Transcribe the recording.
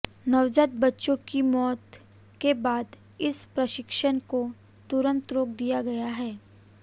नवजात बच्चों की मौत के बाद इस प्रशिक्षण को तुरंत रोक दिया गया है